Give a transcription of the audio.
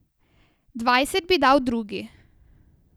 Dvajset bi dal drugi.